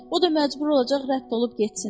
O da məcbur olacaq rədd olub getsin.